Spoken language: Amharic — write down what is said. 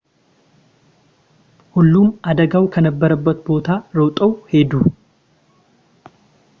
ሁሉም አደጋው ከነበረበት ቦታ ሮጠው ሄዱ